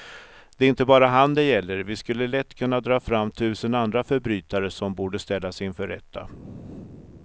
Det är inte bara han det gäller, vi skulle lätt kunna dra fram tusen andra förbrytare som borde ställas inför rätta.